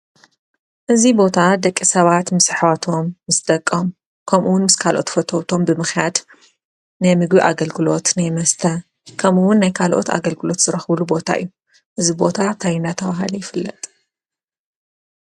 እዚ ቦታ ደቂ ሰባት ምስ ኣሕዋቶም ፣ምስ ደቆም ፣ከምኡ እውን ምስ ካልኦት ፈተውቶም ብምኽያድ ናይ ምግቢ ኣገልግሎት ናይ መስተ ከምኡ እውን ናይ ካልኦት ኣገልግሎት ዝረክብሉ ቦታ እዩ። እዚ ቦታ እንታይ እንዳተባሃለ ይፍለጥ ?